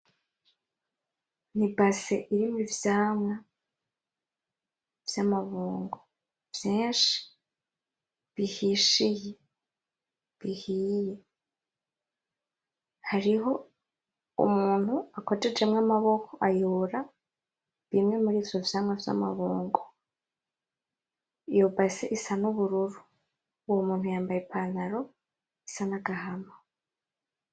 Ni ibase irimwo ivyamwa vy'amabungo vyinshi bihishiye, bihiye. Hariho umuntu akojejemwo amaboko, ayora bimwe murivyo vyamwa vy'amabungo. Iyo base isa n'ubururu, uwo muntu yambaye ipantaro isa n'agahama.